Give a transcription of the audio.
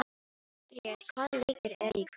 Grét, hvaða leikir eru í kvöld?